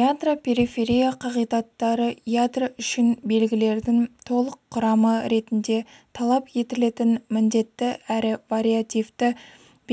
ядро-периферия қағидаттары ядро үшін белгілердің толық құрамы ретінде талап етілетін міндетті әрі вариативті